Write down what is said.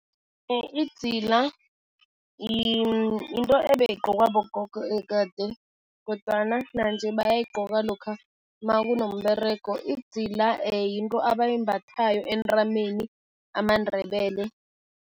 Idzila yinto ebeyigqokwa bogogo kade kodwana nanje bayayayigqoka lokha nakunomberego. Idzila yinto abayimbathayo entameni, amaNdebele.